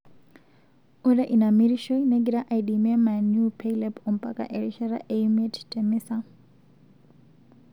Ore ina mirishoi negira aidimie Man U peilep ompaka erishata e miet te misa.